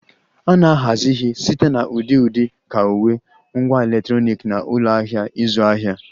A na-ahazi ihe site na ụdị dị ka uwe, ngwá electronic na ụlọ ahịa ịzụ ahịa